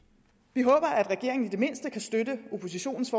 vi håber at regeringen i det mindste kan støtte oppositionens